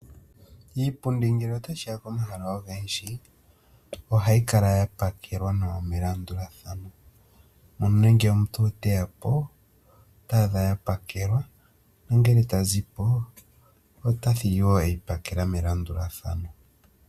Iipundi ngele tashiya pomahala ogendji ohayi kala ya pakelwa nawa melandulathano, nuuna ngele omuntu teyapo ota adha ya pakelwa, nongele ta zipo ota thigi wo ya pakelwa melandulathano.